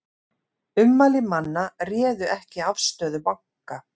Ummæli manna réðu ekki afstöðu banka